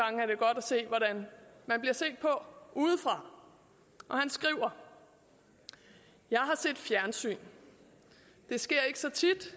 se hvordan man bliver set på udefra han skriver jeg har set fjernsyn det sker ikke så tit